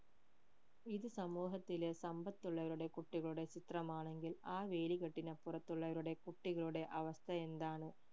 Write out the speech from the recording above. ഇത് സമൂഹത്തിലെ സമ്പത്തുള്ളവരുടെ കുട്ടികളുടെ ചിത്രമാണെങ്കിൽ ആ വേലികെട്ടിന് അപ്പുറത്തുള്ളവരുടെ കുട്ടികളുടെ അവസ്ഥ എന്താണ്